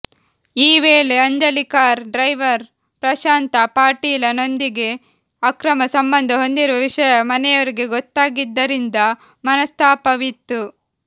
ಈ ವೇಳೆ Anjali car driver Prashant Patil ನೊಂದಿಗೆ ಅಕ್ರಮ ಸಂಬಂಧ ಹೊಂದಿರುವ ವಿಷಯ ಮನೆಯವರಿಗೆ ಗೊತ್ತಾಗಿದ್ದರಿಂದ ಮನಸ್ತಾಪವಿತ್ತು